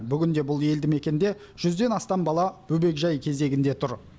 бүгінде бұл елді мекенде жүзден астам бала бөбекжай кезегінде тұр